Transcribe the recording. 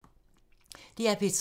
DR P3